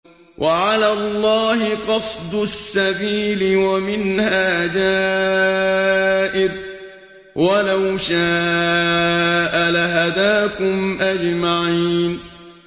وَعَلَى اللَّهِ قَصْدُ السَّبِيلِ وَمِنْهَا جَائِرٌ ۚ وَلَوْ شَاءَ لَهَدَاكُمْ أَجْمَعِينَ